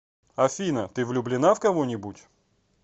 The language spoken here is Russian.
афина ты влюбленна в кого нибудь